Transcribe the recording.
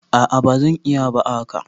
a a ba zan iya ba a haka